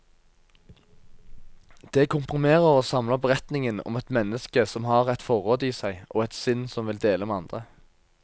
Det komprimerer og samler beretningen om et menneske som har et forråd i seg, og et sinn som vil dele med andre.